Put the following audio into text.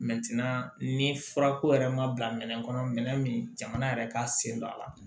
ni furako yɛrɛ ma bila minɛn kɔnɔ minɛn min jamana yɛrɛ ka sen don a la